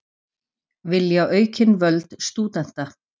Vilja aukin völd stúdenta